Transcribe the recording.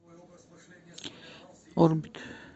орбит